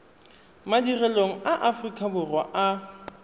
madirelong a aforika borwa a